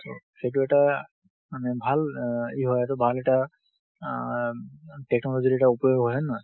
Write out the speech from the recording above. so, সেইটো এটা মানে ভাল আ ই হৈ আছে, ভাল এটা আ উম technology ৰ এটা উপয়োগ, হয় নহয়।